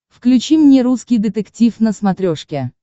включи мне русский детектив на смотрешке